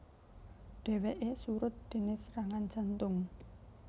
Dhèwèké surut déné serangan jantung